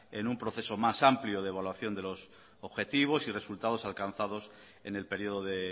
en un proceso más amplio de evaluación de los objetivos y resultados alcanzados en el periodo de